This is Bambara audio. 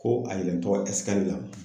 Ko a